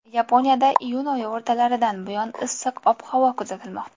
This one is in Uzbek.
Yaponiyada iyun oyi o‘rtalaridan buyon issiq ob-havo kuzatilmoqda.